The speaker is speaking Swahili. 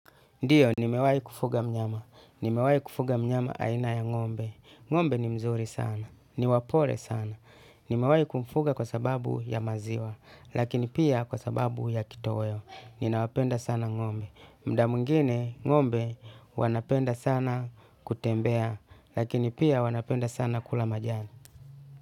Ndiyo, nimewai kufuga mnyama. Nimewai kufuga mnyama aina ya ng'ombe. Ngombe ni mzuri sana. Ni wapole sana. Nimewai kumfuga kwa sababu ya maziwa. Lakini pia kwa sababu ya kitoweo. Ninawapenda sana ng'ombe. Mda mwingine ng'ombe wanapenda sana kutembea. Lakini pia wanapenda sana kula majani.